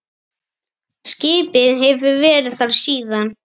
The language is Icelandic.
Skipið hefur verið þar síðan.